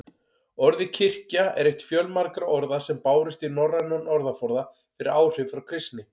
Orðið kirkja er eitt fjölmargra orða sem bárust í norrænan orðaforða fyrir áhrif frá kristni.